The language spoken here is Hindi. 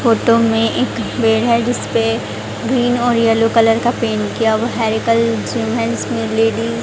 फोटो में एक पेड़ है जिसपे ग्रीन और येलो कलर का पैंट किया हुआ लेडी --